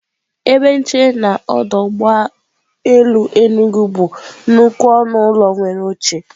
Ebe nchere na n'ọdọ ụgbọelu Enugwu bụ nnukwu ọnụ ụlọ nwere oche.